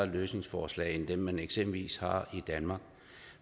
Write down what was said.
løsningsforslag end dem man eksempelvis har i danmark